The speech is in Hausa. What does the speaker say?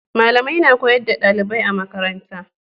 malamai na koyar da dalibai a makaranta